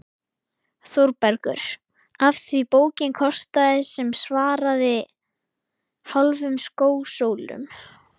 ÞÓRBERGUR: Af því bókin kostaði sem svaraði hálfum skósólum.